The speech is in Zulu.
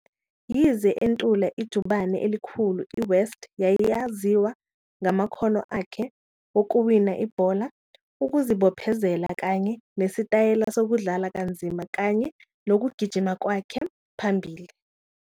Yize entula ijubane elikhulu, iWest yayaziwa ngamakhono akhe wokuwina ibhola, ukuzibophezela, kanye nesitayela sokudlala kanzima, kanye nokugijima kwakhe phambili.